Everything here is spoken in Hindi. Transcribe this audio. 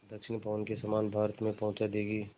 दक्षिण पवन के समान भारत में पहुँचा देंगी